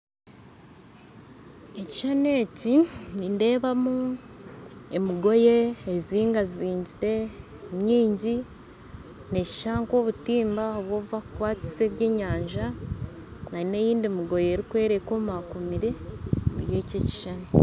Ekishushani eki nindeebamu emigoye ezingazingire nyingi neeshusha nk'obutimba obu obubakukwatisa ebyenyanja nana endiijo migoye erikwera ekomakomire omuri eki ekishushani